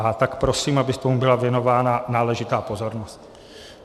A tak prosím, aby tomu byla věnována náležitá pozornost.